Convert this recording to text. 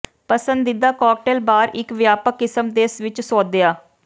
ਪਸੰਦੀਦਾ cocktail bar ਇੱਕ ਵਿਆਪਕ ਕਿਸਮ ਦੇ ਵਿੱਚ ਸੋਧਿਆ